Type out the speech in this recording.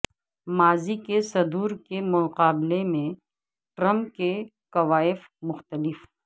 ماضی کے صدور کے مقابلے میں ٹرمپ کے کوائف مختلف